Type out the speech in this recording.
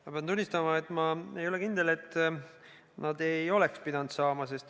Ma pean tunnistama, et ma ei ole kindel, et nad ei oleks pidanud saama.